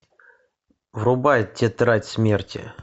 врубай тетрадь смерти